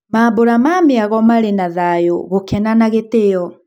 Mambũra ma mĩago marĩ na thayũ, gukena na gĩtĩo.